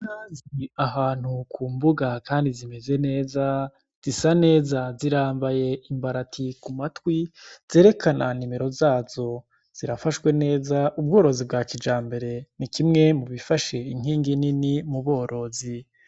Inka ziri ahantu kumbuga Kandi zimeze neza zisaneza zirambaye imbarati kumatwi zerekana nimero zazo zirafashwe neza ubworozi bwakijambere nikimwe mubifashe inkingi nini muborozi.